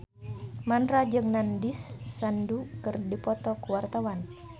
Mandra jeung Nandish Sandhu keur dipoto ku wartawan